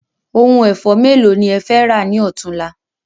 Oko ẹ̀fọ́ mélòó ni ẹ fẹ́ rà ni ọ̀túnla